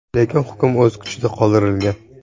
Lekin hukm o‘z kuchida qoldirilgan.